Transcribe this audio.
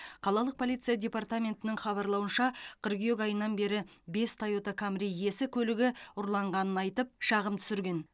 қалалық полиция департаментінің хабарлауынша қыркүйек айынан бері бес тойота камри иесі көлігі ұрланғанын айтып шағым түсірген